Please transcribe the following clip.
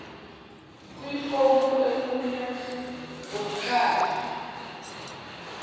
kwifomu enqunywe ngumkhandlu